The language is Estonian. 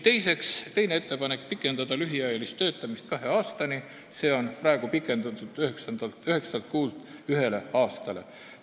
Teine ettepanek on pikendada lühiajalist töötamist kahe aastani, praegu on see pikendatud üheksast kuust ühe aastani.